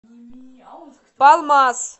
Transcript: палмас